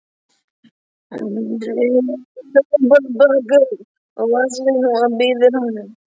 Hún dregur ópal-pakka upp úr vasa sínum og býður honum.